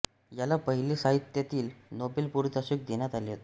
याला पहिले साहित्यातील नोबेल पारितोषिक देण्यात आले होते